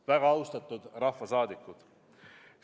Väga austatud rahvasaadikud!